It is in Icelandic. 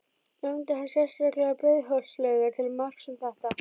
Nefndi hann sérstaklega Breiðholtslaugar til marks um þetta.